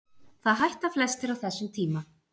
Það hætta flestir á þessum tíma.